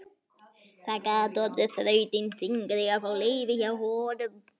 Það gat orðið þrautin þyngri að fá leyfi hjá honum.